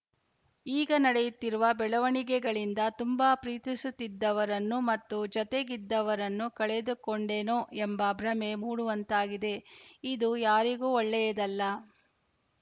ಈಗ ನಡೆಯುತ್ತಿರುವ ಬೆಳವಣಿಗೆಗಳಿಂದ ತುಂಬಾ ಪ್ರೀತಿಸುತ್ತಿದ್ದವರನ್ನು ಮತ್ತು ಜತೆಗಿದ್ದವರನ್ನು ಕಳೆದುಕೊಂಡೆನೋ ಎಂಬ ಭ್ರಮೆ ಮೂಡುವಂತಾಗಿದೆ ಇದು ಯಾರಿಗೂ ಒಳ್ಳೆಯದಲ್ಲ